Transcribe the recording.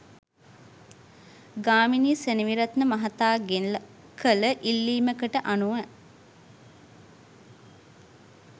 ගාමිණි සෙනෙවිරත්න මහතාගෙන් කළ ඉල්ලීමකට අනුව